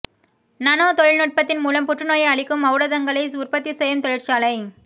nano தொழில்நுட்பத்தின் மூலம் புற்றுநோயை அழிக்கும் ஒளடதங்களை உற்பத்தி செய்யும் தொழிற்சாலை